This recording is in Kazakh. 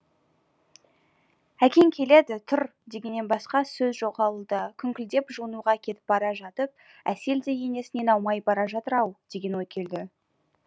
әкең келеді тұр дегеннен басқа сөз жоқ ауылда күңкілдеп жуынуға кетіп бара жатып әсел де енесінен аумай бара жатыр ау деген ой келді